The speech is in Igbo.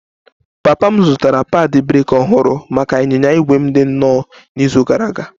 Papa m zụtara padi breeki ọhụrụ maka ịnyịnya ígwè m dị nnọọ n'izu gara aga